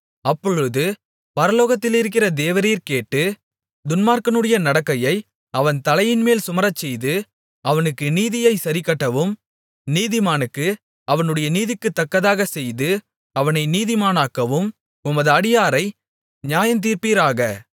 அப்பொழுது பரலோகத்திலிருக்கிற தேவரீர் கேட்டு துன்மார்க்கனுடைய நடக்கையை அவன் தலையின்மேல் சுமரச்செய்து அவனுக்கு நீதியை சரிக்கட்டவும் நீதிமானுக்கு அவனுடைய நீதிக்குத்தக்கதாகச் செய்து அவனை நீதிமானாக்கவும் உமது அடியாரை நியாயந்தீர்ப்பீராக